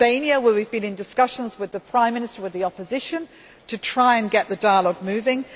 In Albania, we have been in discussions with the Prime Minister and with the opposition to try to get the dialogue moving.